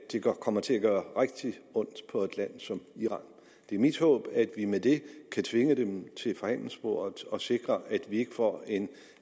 kommer til at gøre rigtig ondt på et land som iran det er mit håb at vi med det kan tvinge dem til forhandlingsbordet og sikre at vi ikke får en